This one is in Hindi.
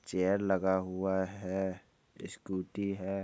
चेयर लगा हुआ है स्कूटी है।